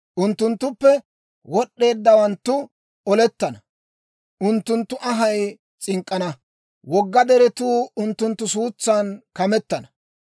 Unttunttuppe wod'eeddawanttu olettana; unttunttu anhay s'ink'k'ana. Wogga deretuu unttunttu suutsan kametana.